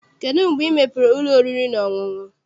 Kedụ mgbe ị mepere ụlọ oriri na ọṅụṅụ?